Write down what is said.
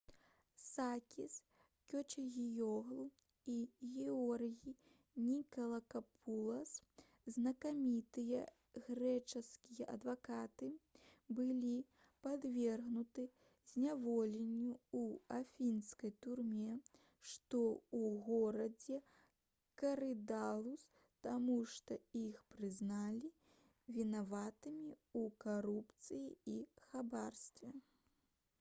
сакіс кечагіёглу і георгій нікалакапулас знакамітыя грэчаскія адвакаты былі падвергнуты зняволенню ў афінскай турме што ў горадзе карыдалус таму што іх прызналі вінаватымі ў карупцыі і хабарніцтве